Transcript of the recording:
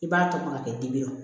I b'a tɔmɔ ka kɛ dibi ye